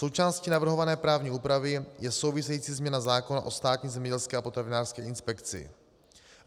Součástí navrhované právní úpravy je související změna zákona o Státní zemědělské a potravinářské inspekci.